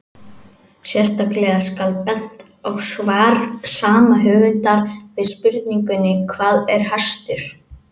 Sérstaklega skal bent á svar sama höfundar við spurningunni Hvað er hestur?